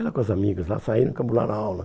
Ela com as amigas lá saíram e cabularam a aula.